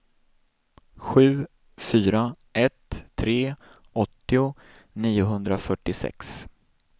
sju fyra ett tre åttio niohundrafyrtiosex